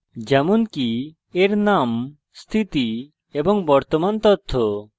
যেমনকি এর name স্থিতি এবং বর্তমান তথ্য